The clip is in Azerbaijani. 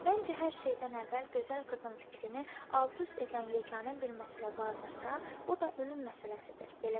Məncə, hər şeydən əvvəl gözəl qızın fikrini alt-üst edən yeganə bir məsələ vardırsa, o da ölüm məsələsidir.